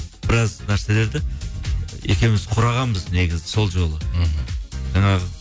біраз нәрселерді екеуіміз құрағанбыз негізі сол жолы мхм жаңағы